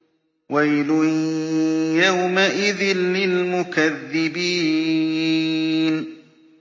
وَيْلٌ يَوْمَئِذٍ لِّلْمُكَذِّبِينَ